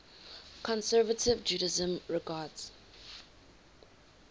conservative judaism regards